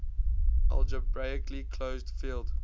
algebraically closed field